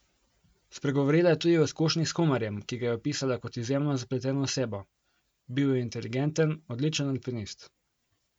Spregovorila je tudi o izkušnji s Humarjem, ki ga je opisala kot izjemno zapleteno osebo: "Bil je inteligenten, odličen alpinist.